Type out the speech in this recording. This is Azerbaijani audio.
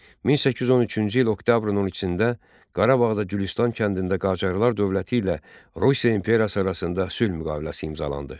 1813-cü il oktyabrın 12-də Qarabağda Gülüstan kəndində Qacarlar dövləti ilə Rusiya imperiyası arasında sülh müqaviləsi imzalandı.